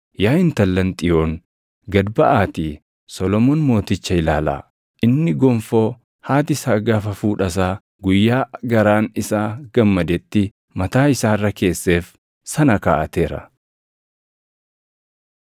Yaa intallan Xiyoon gad baʼaatii Solomoon Mooticha ilaalaa; inni gonfoo haati isaa gaafa fuudha isaa, guyyaa garaan isaa gammadetti, mataa isaa irra keesseef sana kaaʼateera.